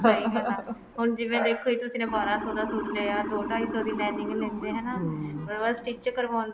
ਸਹੀ ਗੱਲ ਹੈ ਜਿਵੇਂ ਦੇਖੋ ਇੱਕ ਬਾਰਾਂ ਸੋ ਦਾ suit ਲਿਆ ਦੋ ਢਾਈ ਸੋ ਦੀ lining ਲੇਂਦੇ ਹਨਾ ਉਹ ਤੋਂ ਬਾਅਦ stich ਕਰਵਾਉਂਦੇ